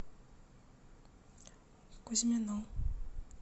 кузьмину